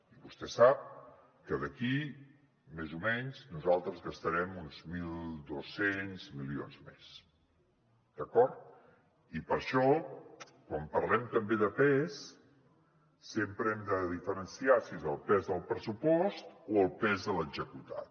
i vostè sap que d’aquí més o menys nosaltres gastarem uns mil dos cents milions més d’acord i per això quan parlem també de pes sempre hem de diferenciar si és el pes del pressupost o el pes de l’executat